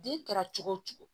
Den kɛra cogo o cogo